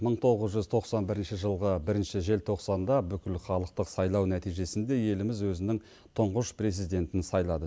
мың тоғыз жүз тоқсан бірінші жылғы бірінші желтоқсанда бүкілхалықтық сайлау нәтижесінде еліміз өзінің тұңғыш президентін сайлады